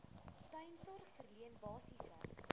tuissorg verleen basiese